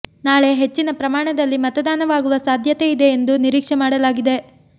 ನಾಳೆ ಹೆಚ್ಚಿನ ಪ್ರಮಾಣ ದಲ್ಲಿ ಮತದಾನವಾಗುವ ಸಾಧ್ಯತೆ ಇದೆ ಎಂದು ನಿರೀಕ್ಷೆ ಮಾಡಲಾಗಿದೆ